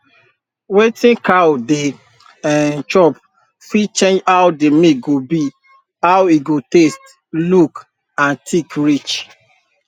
wetin cow dey um chop fit change how the milk go be how e go taste look and thick reach